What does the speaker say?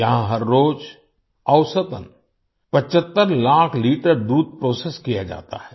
यहां हर रोज औसतन 75 लाख लीटर दूध प्रोसेस किया जाता है